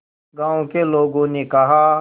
गांव के लोगों ने कहा